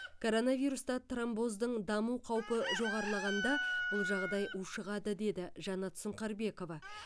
коронавируста тромбоздың даму қаупі жоғарылағанда бұл жағдай ушығады деді жаннат сұңқарбекова